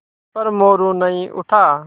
पर मोरू नहीं उठा